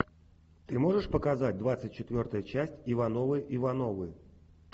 ты можешь показать двадцать четвертая часть ивановы ивановы